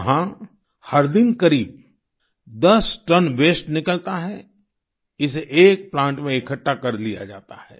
वहाँ हर दिन करीब 10 टन वास्ते निकलता है इसे एक प्लांट में इकठ्ठा कर लिया जाता है